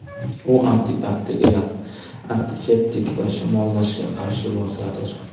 U antibakterial, antiseptik va shamollashga qarshi vositadir.